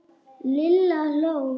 Lilla hló.